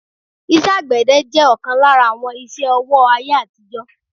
iṣẹ́ àgbẹ̀dẹ jẹ́ ọ̀kan lára àwọn iṣẹ́-ọwọ́ ayé àtijó